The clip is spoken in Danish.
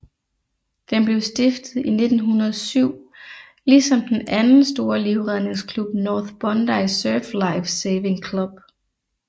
Den blev stiftet i 1907 ligesom den anden store livredningsklub North Bondi Surf Life Saving Club